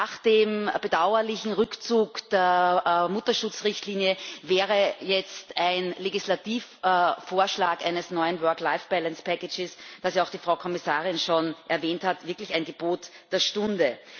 Nach dem bedauerlichen Rückzug der Mutterschutzrichtlinie wäre jetzt ein Legislativvorschlag eines neuen work life balance package das auch die Frau Kommissarin schon erwähnt hat, wirklich ein Gebot der Stunde.